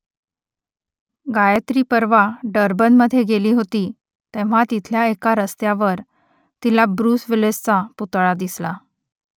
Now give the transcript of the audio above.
गायत्री परवा डर्बनमधे गेली होती तेव्हा तिथल्या एका रस्त्यावर तिला ब्रुस विलिसचा पुतळा दिसला